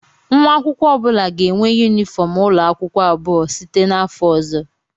Nwa akwụkwọ ọ bụla ga-enwe yunifọm ụlọ akwụkwọ abụọ site n'afọ ọzọ